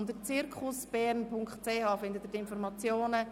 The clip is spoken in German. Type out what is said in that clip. Unter www.zirkusschulebern.ch finden Sie die Informationen.